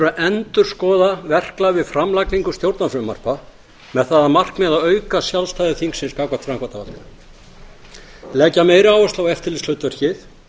endurskoða verklag við framlagningu stjórnarfrumvarpa með það að markmiði að auka sjálfstæði þingsins gagnvart framkvæmdarvaldinu leggja meiri áherslu á eftirlitshlutverkið